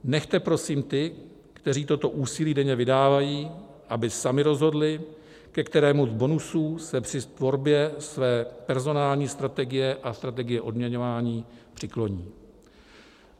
Nechte prosím ty, kteří toto úsilí denně vydávají, aby sami rozhodli, ke kterému z bonusů se při tvorbě své personální strategie a strategie odměňování přikloní.